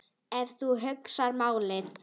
Ef þú hugsar málið.